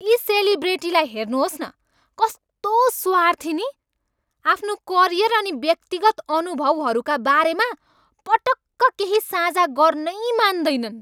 यी सेलिब्रेटीलाई हेर्नुहोस् न, कस्तो स्वार्थी नि? आफ्नो करियर अनि व्यक्तिगत अनुभवहरूका बारेमा पटक्क केही साझा गर्नै मान्दैनन्।